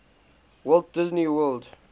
walt disney world